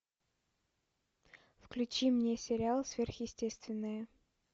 включи мне сериал сверхъестественное